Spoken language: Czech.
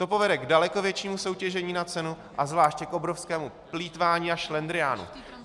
To povede k daleko většímu soutěžení na cenu a zvláště k obrovskému plýtvání a šlendriánu.